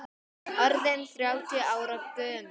Orðinn þrjátíu ára gömul.